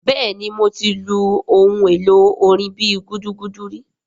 Bẹ́ẹ̀ni mo ti lu ohun èlò orin bíi gúdúgúdú ri